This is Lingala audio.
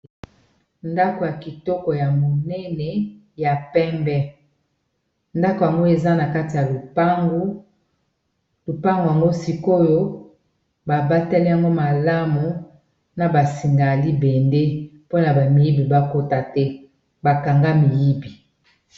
Ndako ya kitoko ya monene ya pembe ndako yamgoi eza na kati ya lupango yango sikoyo babateli yango malamu na basinga ya libende mpona bamiyibi bakota te bakanga miyibi